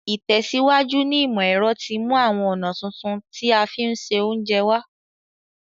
Ìtẹ̀síwájú ní ìmọ̀ ero ti mú àwon ọ̀nà tuntun ti a fi n se ounje wa